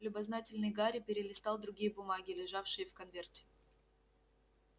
любознательный гарри перелистал другие бумаги лежавшие в конверте